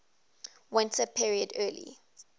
winter period early